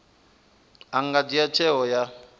a nga dzhia tsheo ya